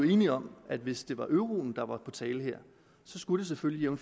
jo enige om at hvis det var euroen der var på tale her så skulle det selvfølgelig